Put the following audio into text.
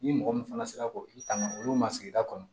Ni mɔgɔ min fana sera k'o i tanga olu ma sigida kɔnɔ